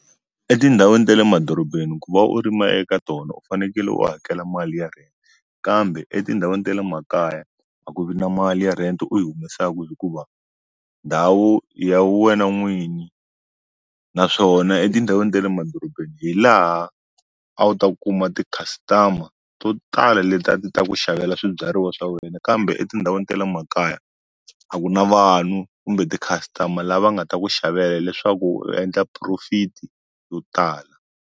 Etindhawini ta le madorobeni ku va u rima eka tona u fanekele u hakela mali ya rent kambe etindhawini ta le makaya a ku vi na mali ya rent u yi humesaku hikuva ndhawu ya wena n'winyi naswona etindhawini ta le madorobeni hi laha a wu ta kuma ti-customer to tala leti ta ku xavela swibyariwa swa wena kambe etindhawini ta le makaya a ku na vanhu kumbe ti-customer lava nga ta ku xavela leswaku u endla profit yo tala.